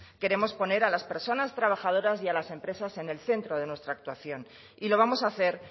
queremos poner a las personas trabajadoras y a las empresas en el centro de nuestra actuación y lo vamos a hacer